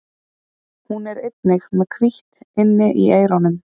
Hún er einnig með hvítt inni í eyrunum.